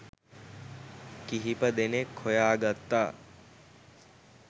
කිහිප දෙනෙක් හොයාගත්තා.